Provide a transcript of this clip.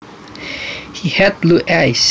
He had blue eyes